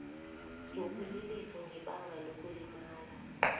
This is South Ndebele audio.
sokuliliswa ngebanga lokulimala